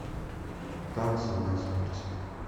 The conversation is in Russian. танцы на смерть